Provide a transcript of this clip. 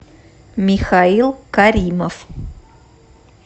михаил каримов